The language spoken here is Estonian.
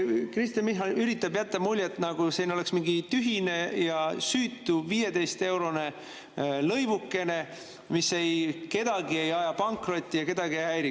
Kristen Michal üritab jätta muljet, nagu siin oleks mingi tühine ja süütu 15-eurone lõivukene, mis ei aja kedagi pankrotti ja kedagi ei häiri.